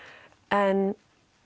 en